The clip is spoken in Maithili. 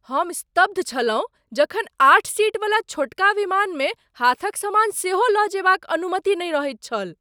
हम स्तब्ध छलहुँ जखन आठ सीट वला छोटका विमानमे हाथक सामान सेहो लऽ जयबाक अनुमति नहि रहैत छल।